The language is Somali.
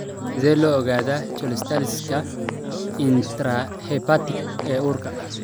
Sidee loo ogaadaa cholestasis-ka intrahepatic ee uurka?